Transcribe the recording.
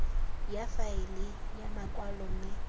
ya faele ya makwalo mme